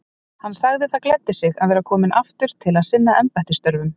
Hann sagði það gleddi sig að vera kominn aftur til að sinna embættisstörfum.